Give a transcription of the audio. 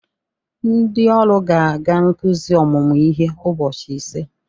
Ndị ọrụ ga-aga nzukọ ọmụmụ ihe ụbọchị ise